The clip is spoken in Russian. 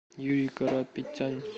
юрий карапетян